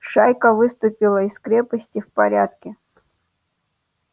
шайка выступила из крепости в порядке